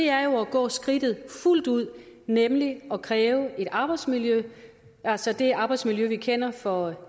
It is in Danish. er jo at gå skridtet fuldt ud nemlig at kræve at arbejdsmiljø altså det arbejdsmiljø vi kender for